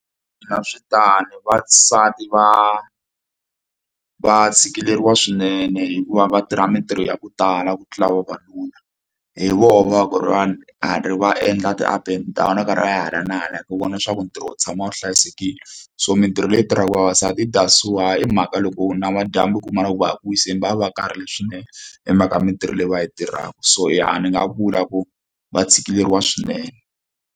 Na swi tano vasati va va tshikileriwa swinene hikuva va tirha mitirho ya ku tala ku tlula vavanuna hi vona va ku ri va ri va endla ti-up and down va karhi a ya hala na hala ku vona leswaku ntirho wu tshama wu hlayisekile so mitirho leyi tirhaka vavasati i that's why i mhaka loko namadyambu ku kuma loko va ya ku wiseni va va va karhele swinene hi mhaka mitirho leyi va yi tirhaka so i ya ni nga vula ku va tshikileriwa swinene.